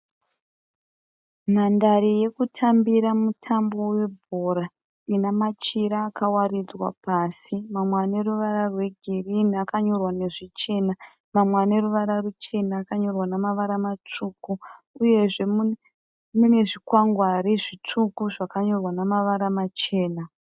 Nhandare yekutambira mutambo webhora inemachira akawaridzwa pasi mamwe aneruvara rwegirirni akanyorwa nezvichena ,mamwe aneruvara ruchena akanyorwa nemavara masvuku uye zvemunezvikwangware zvisvuku zvakanyorwa nemavara machena.